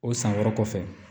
O san wɛrɛ kɔfɛ